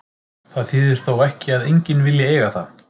Það þýðir þó ekki að enginn vilji eiga það.